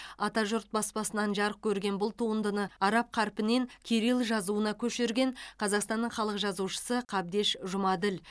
атажұрт баспасынан жарық көрген бұл туындыны араб қарпінен кирилл жазуына көшірген қазақстанның халық жазушысы қабдеш жұмаділ